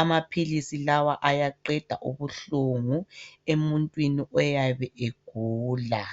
Amaphilisi lawa ayaqeda ubuhlungu emuntwini oyabe egula.